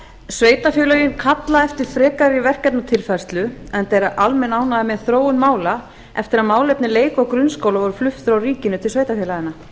sveitarfélögin kalla eftir frekari verkefnatilfærslu enda er almenn ánægja með þróun mála eftir að málefni leik og grunnskóla voru flutt frá ríkinu til sveitarfélaganna